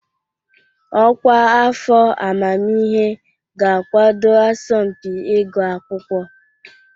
Ọkwa afọ amamihe ga-akwado asọmpi ịgụ akwụkwọ.